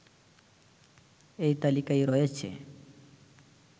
এই তালিকায় রয়েছে